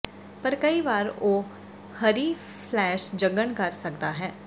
ਪਰ ਕਈ ਵਾਰ ਉਹ ਹਰੀ ਫਲੈਸ਼ ਜਗਣ ਕਰ ਸਕਦਾ ਹੈ